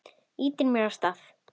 Ýtir mér af stað.